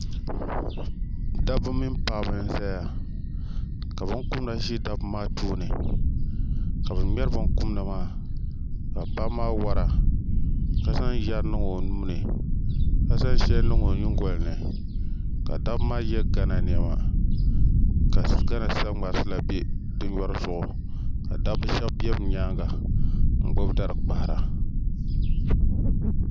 Dabba mini paɣaba n ʒɛya ka binkumda ʒɛ dabba maa tooni ka bi ŋmɛri binkumda maa ka paɣaba maa wora ka zaŋ yɛri niŋ o nuuni ka zaŋ shɛli niŋ o nyingoli ni ka dabba maa yɛ gana niɛma ka gana saŋmarisi la bɛ di nyori zuɣu ka dabba shab bɛ bi nyaanga n gbubi dari kpahara